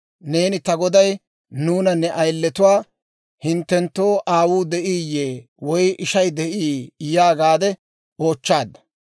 Neeni ta goday nuuna ne ayiletuwaa, ‹Hinttenttoo aawuu de'iiyye woy ishay de'ii?› yaagaadde oochchaadda.